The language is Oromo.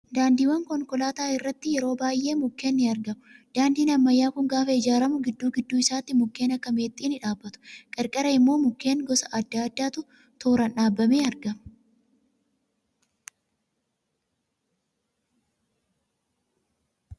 Daandiiwwan konkolaataa irratti yeroo baay'ee mukkeen ni argamu. Daandiin ammayyaa kun gaafa ijaaramu gidduu gidduu isaatti mukken akka meexxii ni dhaabbatu. Qarqara immoo mukkeen gosa adda addaatu tooraan dhaabamee argama.